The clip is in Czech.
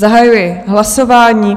Zahajuji hlasování.